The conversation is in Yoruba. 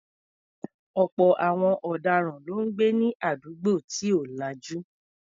Ọ̀pọ̀ àwọn ọ̀daràn ló ń gbé ní àdúgbò tí ò lajú.